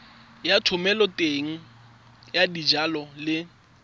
ya thomeloteng ya dijalo le